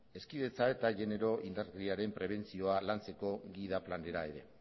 hezkidetza eta genero indarkeriaren prebentzioa lantzeko gida planera ere